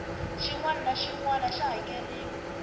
xinwana naxinwana xa hakerhiwa